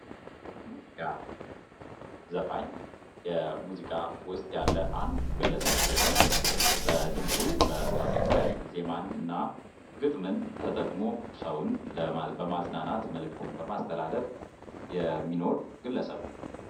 ሙዚቃ ዘፋኝ ሙዚቃ ውስጥ ያለ አንድ ግለሰብ ሲሆን በድምፁ በማቀንቀን ዜማን እና ግጥምን ተጠቅሞ ሰውን የማዝናናት መልእክትን በማስተላለፍ የሚኖር ግለሰብ ነው።